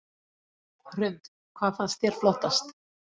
Hrund: Hvað fannst þér flottast?